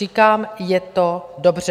Říkám, je to dobře.